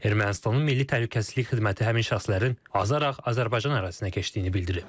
Ermənistanın milli təhlükəsizlik xidməti həmin şəxslərin azaraq Azərbaycan ərazisinə keçdiyini bildirib.